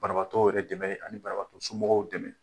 Banabagatɔw yɛrɛ dɛmɛ ani banabagatɔ somɔgɔw dɛmɛ.